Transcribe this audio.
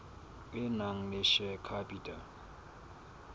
e nang le share capital